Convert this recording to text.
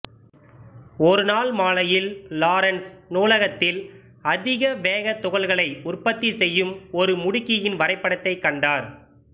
ஒருநாள் மாலையில் லாரன்ஸ் நூலகத்தில் அதிக வேக துகள்களை உற்பத்தி செய்யும் ஒரு முடுக்கியின் வரைபடத்தை கண்டார்